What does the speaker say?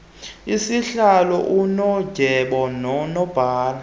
usihlalo unondyebo nonobhala